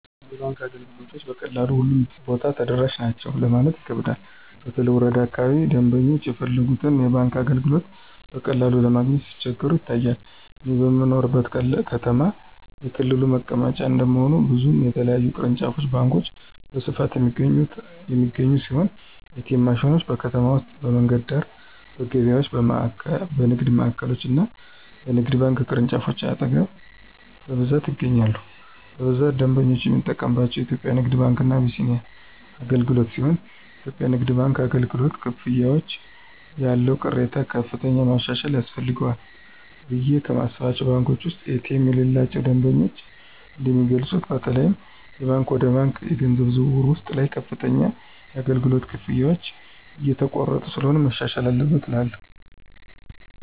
የባንክ አገልግሎቶችን በቀላሉ ሁሉም ቦታ ተደራሽ ናቸው ለማለት ይከብዳል በተለይ ወረዳ አካባቢዎች ደምበኞች የፈለጉትን የባንክ አገልግሎቶች በቀላሉ ለማግኘት ሲቸገሩ ይታያል። እኔ በምኖርበት ከተማ የክልሉ መቀመጫ እንደመሆኑ ብዙ የተለያዩ ቅርንጫፍ ባንኮች በስፋት የሚገኙ ሲሆን ኤ.ቲ.ኤም ማሽኖች: በከተማ ውስጥ በመንገድ ዳር፣ በገበያዎች፣ በንግድ ማዕከሎች እና በባንክ ቅርንጫፎች አጠገብ በብዛት ይገኛሉ። በብዛት ደንበኞች የሚጠቀምባቸው የኢትዮጽያ ንግድ ባንክ እና አቢሲኒያ አገልግሎትሲሆንየኢትዮጵያ ንግድ ባንክ አገልግሎት፨ ክፍያዎች ያለው ቅሬታ ከፍተኛ ማሻሻያ ያስፈልጋቸዋልቑ ብየ ከማስባቸው ባንኮች ውስጥ ኤ.ቲ.ኤም የሌላቸው ደንበኞች እንደሚገልጹት በተለይም የባንክ ወደ ባንክ የገንዘብ ዝውውር ውስጥ ላይ ከፍተኛ የአገልግሎት ክፍያዎች እየተቆረጡ ስለሆነ መሻሻል አለበት እላለሁ።